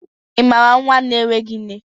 ị maara nwa na-enweghị nne?